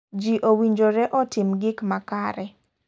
Ji owinjore otim gik makare.